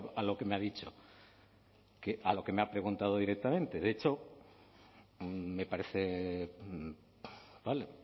a lo que me ha dicho a lo que me ha preguntado directamente de hecho me parece vale